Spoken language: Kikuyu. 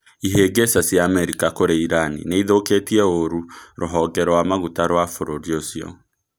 Ihĩngĩca cia Amerika kũrĩ Irani niĩthũkĩtie ũrũ rũhonge rũamaguta rũa bururi ũcio.